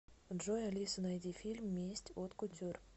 джой алиса найди фильм месть от кутюр